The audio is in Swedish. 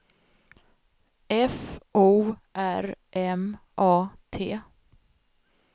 F O R M A T